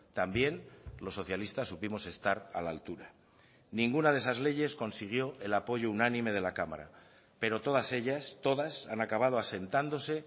también los socialistas supimos estar a la altura ninguna de esas leyes consiguió el apoyo unánime de la cámara pero todas ellas todas han acabado asentándose